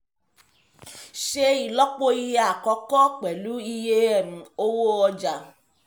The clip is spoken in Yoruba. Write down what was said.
ṣe ìlọ́po iye àkọ́kọ́ pẹ̀lú iye um owó ọjà